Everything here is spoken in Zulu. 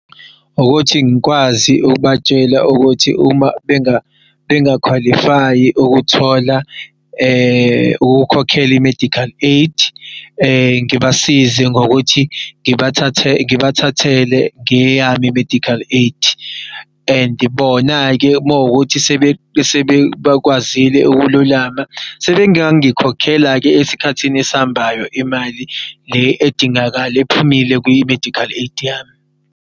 Ukuthi ngikwazi ukubatshela ukuthi uma benga-qualify-i ukuthola ukukhokhela i-medical aid ngibasize ngokuthi ngibathathe ngibathathele ngeyami i-medical aid. And bona-ke makuwukuthi sebekwazile ukululama sebengangikhokhela-ke esikhathini esihambayo imali le edingakala ephumile kwi-medical aid yami.